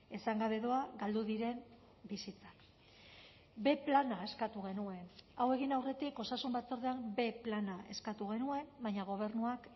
esan gabe doa galdu diren bizitzak b plana eskatu genuen hau egin aurretik osasun batzordean b plana eskatu genuen baina gobernuak